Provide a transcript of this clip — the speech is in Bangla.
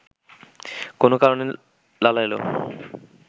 কোনও কারণে লালা এলো